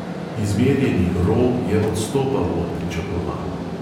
Izmerjeni ro je odstopal od pričakovanj.